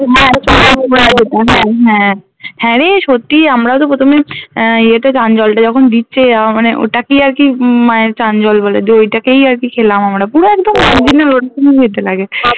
হ্যাঁ হ্যা রে সত্যি আমরা তো প্রথমে আহ এ তে চান জলটা যখন দিচ্ছে আহ মানে ওটাকেই আর কি উম মায়ের চান জল বলে দিয়ে ঐটাকেই আর কি খেলাম আমরা পুরো একদম ওরকমই খেতে লাগে